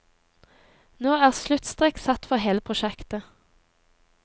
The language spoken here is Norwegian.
Nå er sluttstrek satt for hele prosjektet.